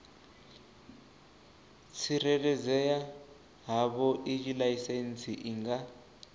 tsireledzea havhoiyi laisentsi i nga